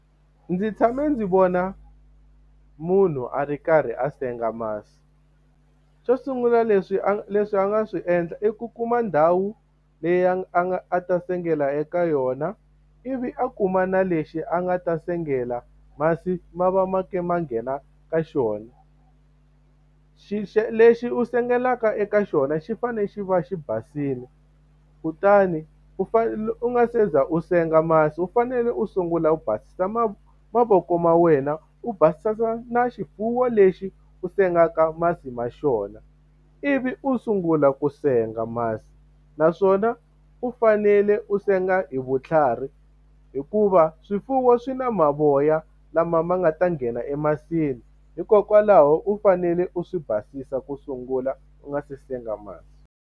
Ndzi tshame ndzi vona munhu a ri karhi a senga masi. Xo sungula leswi a leswi a nga swi endla i ku kuma ndhawu leyi a a nga a ta sengela eka yona. Ivi a kuma na lexi a nga ta sengela masi ma va ma karhi ma nghena eka xona. Lexi u sengelaka eka xona xi fanele xi va xi basile, kutani u fanele u nga se za u senga masi u fanele u sungula u basisa mavoko ma wena, u basisa na na xifuwo lexi u sengaka masi ma xona, ivi u sungula ku senga masi. Naswona u fanele u senga hi vutlhari hikuva swifuwo swi na mavoya lama ma nga ta nghena emasini, hikokwalaho u fanele u swi basisa ku sungula u nga se senga masi.